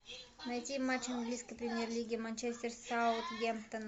найти матч английской премьер лиги манчестер саутгемптон